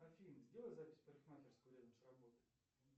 афина сделай запись в парикмахерскую рядом с работой